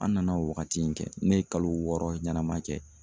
An nana o waagati in kɛ, ne ye kalo wɔɔrɔ ɲɛnama kɛ.